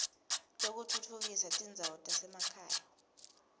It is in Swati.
lwekutfutfukisa tindzawo tasemakhaya